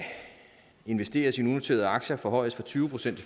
investeres i unoterede aktier forhøjes fra tyve procent